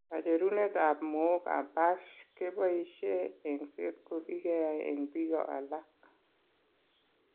Kacherunetab mookab PASH keboishe eng'set ko kikeyai eng' biko alak.